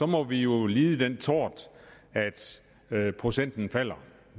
må vi jo lide den tort at procenten falder